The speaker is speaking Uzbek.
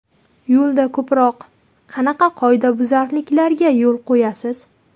Yo‘lda ko‘proq qanaqa qoidabuzarliklarga yo‘l qo‘yasiz?